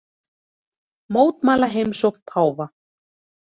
Mótmæla heimsókn páfa